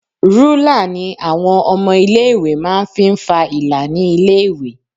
Rúlà ni àwọn ọmọ ilé ìwé máa ń fi ń fa ìlà ní ilé ìwé.